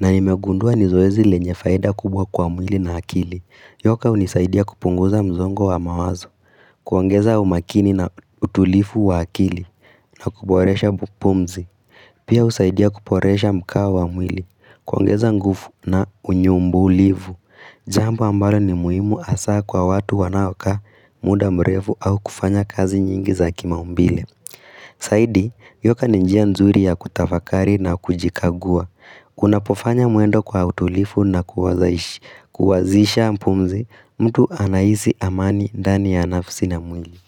na nimegundua ni zoezi lenye faida kubwa kwa mwili na akili. Yoka hunisaidia kupunguza msongo wa mawazo, kuongeza umakini na utulivu wa akili, na kuboresha bupumzi. Pia husaidia kuporesha mkao wa mwili, kuongeza nguvu na unyumbulivu. Jambo ambalo ni muhimu hasa kwa watu wanaokaa muda mrefu au kufanya kazi nyingi za kimaumbile. Zaidi, yoka ni njia nzuri ya kutafakari na kujikagua. Unapofanya mwendo kwa utulifu na kuwazisha pumzi, mtu anahisi amani ndani ya nafsi na mwili.